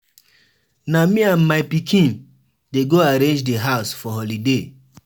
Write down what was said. Na me and my pikin dey go arrange di house for holiday.